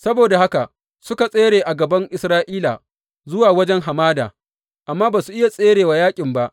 Saboda haka suka tsere a gaban Isra’ila zuwa wajen hamada, amma ba su iya tsere wa yaƙin ba.